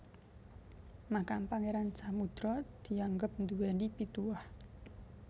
Makam Pangeran Samudra dianggep nduweni pituwah